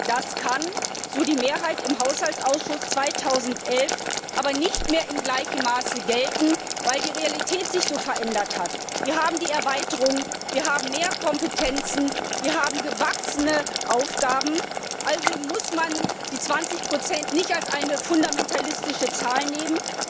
Das kann, so die Mehrheit im Haushaltsausschuss, 2011 aber nicht mehr in gleichem Maße gelten, weil die Realität sich verändert hat. Wir haben die Erweiterung, wir haben mehr Kompetenzen, wir haben gewachsene Aufgaben, also muss man die 20 nicht als eine fundamentalistische Zahl nehmen.